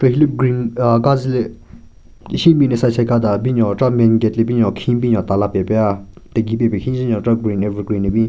Hile green ahh kazu le shenbin ne side side ka da binyon chera main gate le binyon khin binyon tala pen pe tegi pen pe khin njen nyon chera evergreen ne bin.